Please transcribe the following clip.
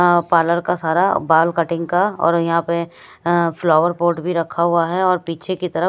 अ parlour का सारा बाल कटिंग का और यहां पे अ फ्लावर पॉट भी रखा हुआ है और पीछे की तरफ--